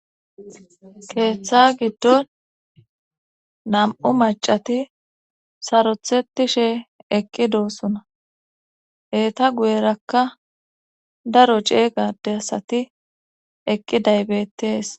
keeththa giddon nam7u macati sarotheti she eqqi doo suna eeta guyerakka daro ceegade asati eqqi daybettees